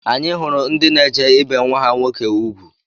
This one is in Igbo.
Anyị hụrụ ndị na-eje ibe nwa ha nwoke ugwu